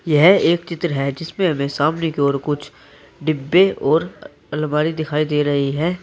यह एक चित्र है जिसमें हमें सामने की ओर कुछ डिब्बे और अलमारी दिखाई दे रही है।